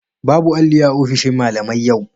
Babu alli a ofishin malamai yau